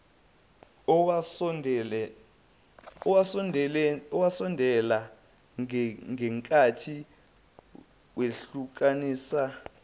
owasondela ngakithi wehlukanisa